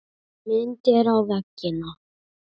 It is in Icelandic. Myndir á veggina.